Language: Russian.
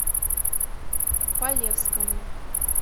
полевскому